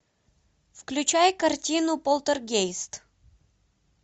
включай картину полтергейст